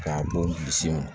K'a bɔ bilisi ma